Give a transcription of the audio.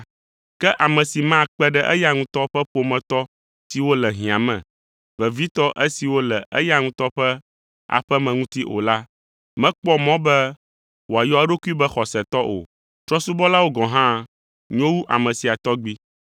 Ke ame si makpe ɖe eya ŋutɔ ƒe ƒometɔ siwo le hiã me, vevitɔ esiwo le eya ŋutɔ ƒe aƒe me ŋuti o la, mekpɔ mɔ be wòayɔ eɖokui be xɔsetɔ o. Trɔ̃subɔla gɔ̃ hã nyo wu ame sia tɔgbi.